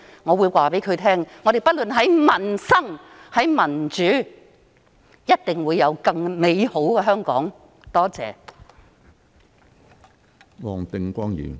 我會告訴她："我們不論在民生或民主方面，也一定會令香港更美好。